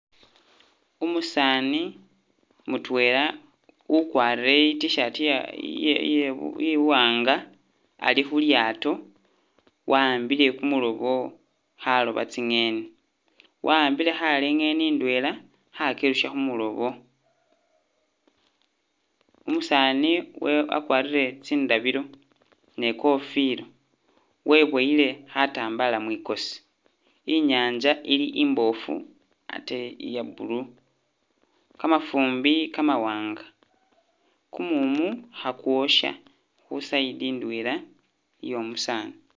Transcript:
Umusaani mutwela ukwarire i T'shirt iya-iye- iwanga ali khu lyaato wawambile kumulobo khaloba tsingeni wa'ambile khale ingeni indwela khakyirusa khu mulobo. Umusaani we- wakwarire tsindabilo ne kofila weboyile khatambala mwikosi inyaanza ili imbofu ate iya blue, kamafumbi kamawanga, kumumu khakwosha khu side indwela iyo omusaani.